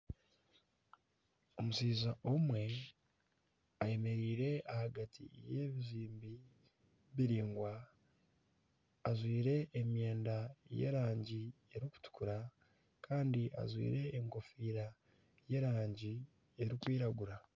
Omushaija omwe ayemereire ahagati y'ebizimbe biraingwa. Ajwaire emyenda y'erangi erikutukura kandi ajwaire enkofiira y'erangi erikwiragura.